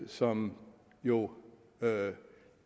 som jo